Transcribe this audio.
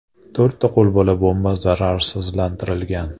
To‘rtta qo‘lbola bomba zararsizlantirilgan.